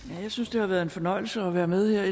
jeg synes det har været en fornøjelse at være med